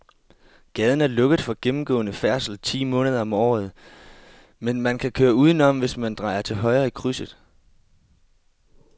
Gaden er lukket for gennemgående færdsel ti måneder om året, men man kan køre udenom, hvis man drejer til højre i krydset.